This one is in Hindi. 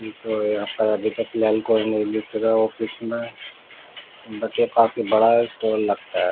ये तो यहाँ पर फ़िलहाल कोई नहीं दिख रहा है ऑफिस में बट ये काफी बड़ा स्टॉल लगता है.